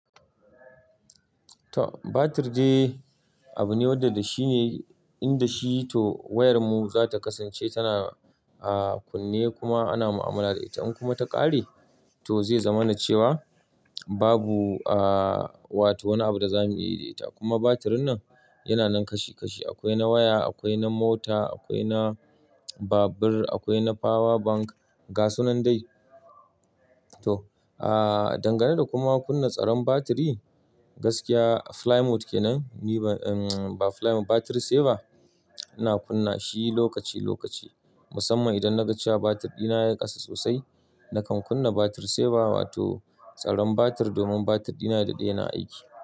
Batir dai abu ne wanda da shi ne in da shi toh wayar mu za ta kasance tana ah kunne kuma ana mu'amala da ita. In kuma ta ƙare toh zai zama na cewa babu ah, wa toh wani abu da za mu yi da ita. Kuma batir nan yana nan kashi kashi. Akwai na waya, akwai na mota, akwai na babur, akwai na power bank, ga sunan dai. Toh, ah dangane da kuma kunna tsaron batiri gaskiya fly mode kenan ni ba fly mode, battery saver ina kunna shi lokaci lokaci. Musamman idan na ga cewa batir ɗina ya ƙasa sosai nakan kunna battery saver wato tsaron batir domin batir ɗina ya daɗe yana aiki.